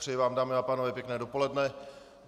Přeji vám, dámy a pánové, pěkné dopoledne.